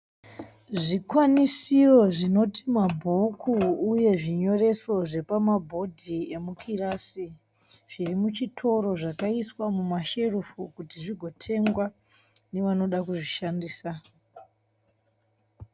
Zvikwanisiro zvinoti mabhuku uye zvinyoreso zvepamabhodhi emukirasi zviri muchitoro zvakaiswa mumasherefu kuti zvigotengwa nevanoda kuzvishandisa.